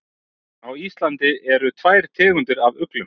Á Íslandi eru tvær tegundir af uglum.